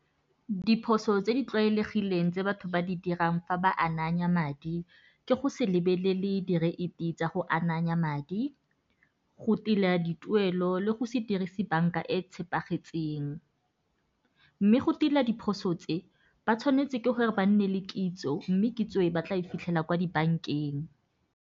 Diphoso tse di tlwaelegileng tse batho ba di dirang fa ba ananya madi, ke go se lebelele direiti tsa go ananya madi, go tila dituelo le go se dirise banka e tshepagetseng. Mme go tila diphoso tse, ba tshwanetse ke gore ba nne le kitso mme kitso e ba tla e fitlhela kwa dibankeng.